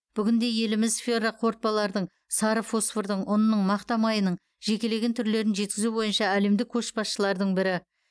бүгінде еліміз ферроқорытпалардың сары фосфордың ұнның мақта майының жекелеген түрлерін жеткізу бойынша әлемдік көшбасшылардың бірі